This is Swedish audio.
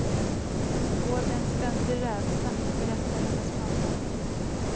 Hon går med en ständig rädsla, berättar hennes mamma.